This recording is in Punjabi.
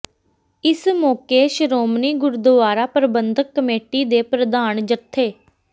ਇਸ ਮੌਕੇ ਸ਼੍ਰੋਮਣੀ ਗੁਰਦੁਆਰਾ ਪ੍ਰਬੰਧਕ ਕਮੇਟੀ ਦੇ ਪ੍ਰਧਾਨ ਜੱਥੇ